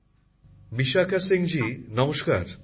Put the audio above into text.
প্রধানমন্ত্রী জীঃ বিশাখা সিংজী নমস্কার